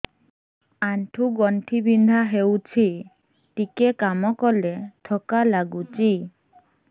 ଆଣ୍ଠୁ ଗଣ୍ଠି ବିନ୍ଧା ହେଉଛି ଟିକେ କାମ କଲେ ଥକ୍କା ଲାଗୁଚି